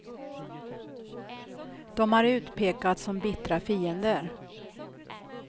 De har utpekats som bittra fiender.